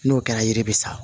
N'o kɛra yiri bɛ sa